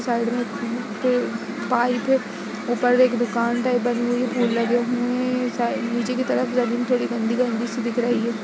Side में अ प पाइप है।‌‌‌ ऊपर एक दुकान टाइप बनी हुई | फूल लगे हुए हैं साइड नीचे की तरफ जमीन थोड़ी गंदी गंदी सी दिख रही है।